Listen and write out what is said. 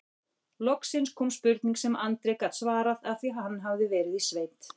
Loksins kom spurning sem Andri gat svarað af því hann hafði verið í sveit